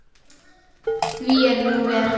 Því er nú ver.